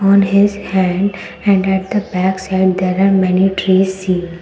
on his hand and at the backside there are many trees seen.